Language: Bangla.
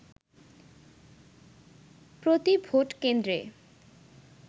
প্রতি ভোটকেন্দ্রে